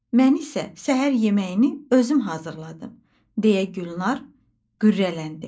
Mən isə səhər yeməyini özüm hazırladım, deyə Gülnar qürrələndi.